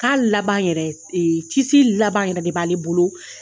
Ka laban yɛrɛ laban yɛrɛ de b'ale bolo